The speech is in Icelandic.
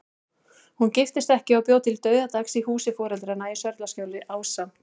Hún giftist ekki og bjó til dauðadags í húsi foreldranna í Sörlaskjóli, ásamt